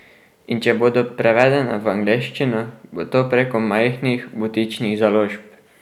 In če bodo prevedena v angleščino, bo to preko majhnih, butičnih založb.